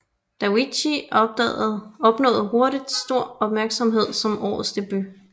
Davichi opnåede hurtigt stor opmærksomhed som årets debut